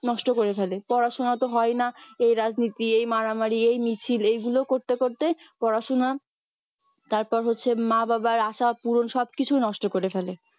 নষ্ট করে ফেলে পড়াশোনা তো হয়ই না এই রাজনীতি এই মারামারি এই মিছিল এইগুলো করতে করতে পড়াশোনা তারপর হচ্ছে মা বাবার আশা পূরণ সব কিছু নষ্ট করে ফেলে